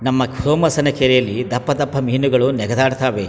ನಮ್ಮ ಸೋಮಸನ ಕೆರೆಯಲ್ಲಿ ದಪ್ಪದಪ್ಪ ಮೀನುಗಳು ನೆಗ್ ದಾಡ್ ತವೆ .